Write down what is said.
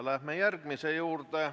Läheme järgmise küsimuse juurde.